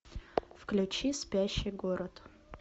включи спящий город